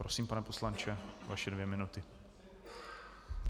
Prosím, pane poslanče, vaše dvě minuty.